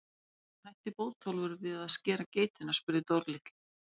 Og af hverju hætti Bótólfur við að skera geitina? spurði Dóri litli.